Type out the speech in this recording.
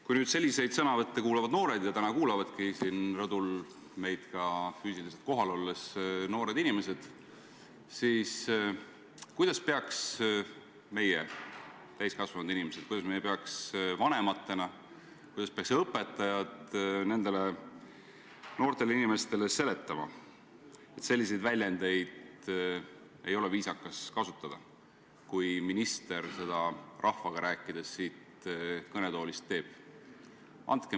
Kui selliseid sõnavõtte kuulavad noored – ja täna kuulavadki meid rõdul kohal olles noored inimesed –, siis kuidas peaks meie, täiskasvanud inimesed, kuidas peaks meie lapsevanematena, kuidas peaks õpetajad nendele noortele inimestele seletama, et selliseid väljendeid ei ole viisakas kasutada, kui minister rahvaga siit kõnetoolist räägib?